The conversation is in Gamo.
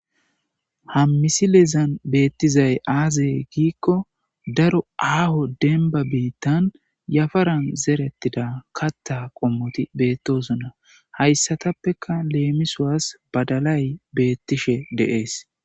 Ha misilezan betizays azegiko aho deniba bittan yaparan zeretida katha qomoti betesona hayisatapeka lemisawus badalay betishe de'es